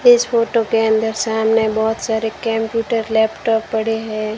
इस फोटो के अंदर सामने बहुत सारे केम्प्यूटर लैपटॉप पड़े हैं।